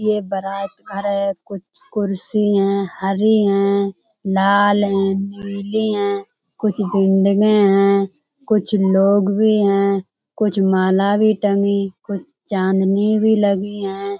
ये बारात घर है। कुछ कुर्सी हैं हरी हैं लाल हैं नीली हैं कुछ हैं। कुछ लोग भी हैं कुछ माला भी टंगी कुछ चांदनी भी लगी हैं।